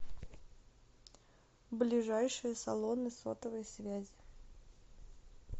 ближайшие салоны сотовой связи